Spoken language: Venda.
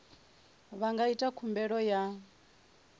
vha nga ita khumbelo ya